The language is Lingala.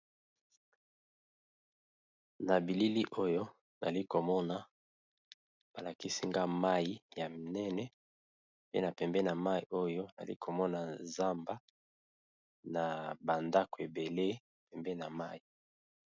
na bilili oyo ali komona balakisinga mai ya minene pe na pembe na mai oyo ali komona zamba na bandako ebele pembe na mai